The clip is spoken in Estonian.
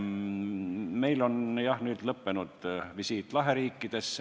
Me, jah, tegime visiidi Laheriikidesse.